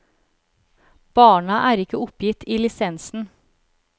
Barna er ikke oppgitt i lisensen.